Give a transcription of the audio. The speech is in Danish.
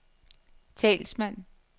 talsmand